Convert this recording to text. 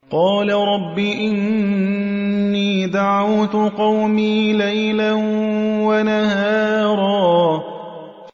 قَالَ رَبِّ إِنِّي دَعَوْتُ قَوْمِي لَيْلًا وَنَهَارًا